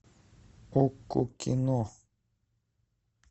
окко кино